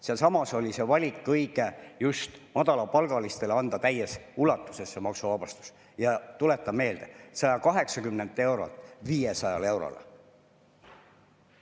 See oli õige valik, et just madalapalgalistele anda täies ulatuses maksuvabastus, ja tuletan meelde: 180 eurolt 500 eurole.